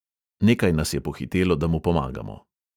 Nekaj nas je pohitelo, da mu pomagamo.